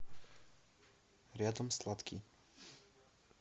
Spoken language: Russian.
рядом сладкий